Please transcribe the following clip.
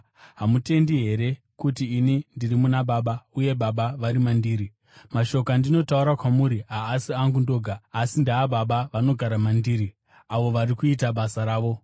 Hamutendi here kuti ini ndiri muna Baba, uye Baba vari mandiri? Mashoko andinotaura kwamuri haasi angu ndoga. Asi, ndeaBaba, vanogara mandiri, avo vari kuita basa ravo.